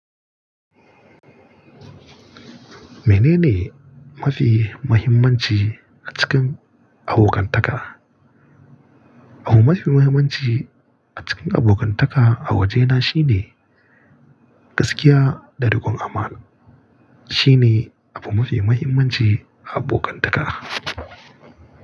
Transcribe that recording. Mene ne mafi muhimmanci a cikin abokantaka? Abu mafi muhimmanci a cikin abokantaka a waje na shine gaskiya da dogon amana. Shine abu mafi muhimmanci a abonkantaka.